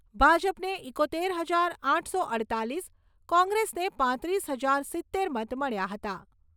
ભાજપને એકોતેર હજાર આઠસો અડતાલીસ, કોંગ્રેસને પાંત્રીસ હજાર સિત્તેર મત મળ્યા હતા.